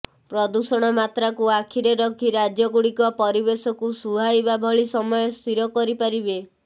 ପ୍ରଦୂଷଣ ମାତ୍ରାକୁ ଆଖିରେ ରଖି ରାଜ୍ୟଗୁଡ଼ିକ ପରିବେଶକୁ ସୁହାଇବା ଭଳି ସମୟ ସ୍ଥିର କରିପାରିବେ